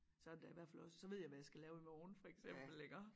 Så det da i hvert fald også så ved jeg hvad jeg skal lave i morgen for eksempel iggå